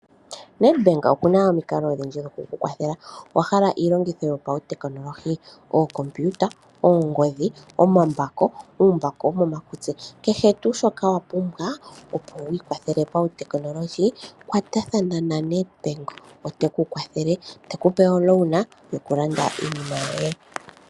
Nedbank oku na omikalo odhindji dhoku ku kwathela. Owa hala iilongitho yopautekinolohi? Ookompiuta, oongodhi, omambako, uumbako wokomakutsi nakehe tuu shoka wa pumbwa, opo wi ikwathele pautekinolohi, kwatathana naNedbank, oteku kwathele, te ku pe omukuli yokulanda iinima yoye.